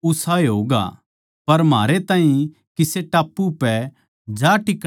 पर म्हारै ताहीं किसे टापू पै जा टिकणा होगा